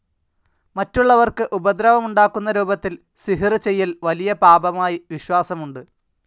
മറ്റുള്ളവർക്ക് ഉപദ്രവമുണ്ടാക്കുന്ന രൂപത്തിൽ സിഹ്ർ ചെയ്യൽ വലിയ പാപമായി വിശ്വാസമുണ്ട്.